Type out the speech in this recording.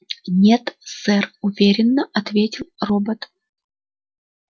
нет сэр уверенно ответил робот